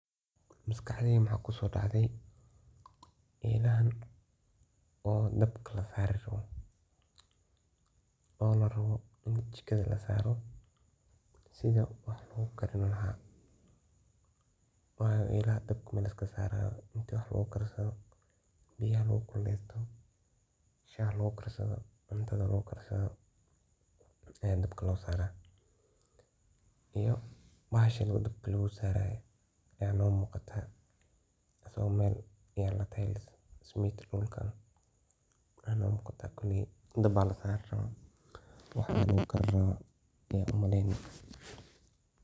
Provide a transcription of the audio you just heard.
Maskaxdeyda maxa kusoacde elehan oo dabka lasari rabo, oo jikada lasari rawo. Sidaa wax logu karini laha wayo elaha dabka laiskama sarayo ,ini wax lagu karsadho, biya lagu kulesto ,shax lagu karsadho, cuntada lagu karsadho zaid dabka lo saraa. Iyo bahashan oo dabka lagu saraye ayaa noo muqata oo mel ismid lasaraye ,waxa ino muqata kuni dab aa lasari raba wax lagu karini u maleyni.